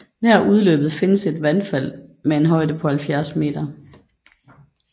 Nær udløbet findes et vandfald med en højde på 70 m